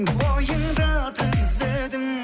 бойыңды түзедің